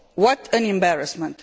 What an embarrassment!